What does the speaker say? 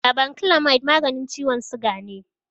Glabanclamide maganin ciwon siga ne.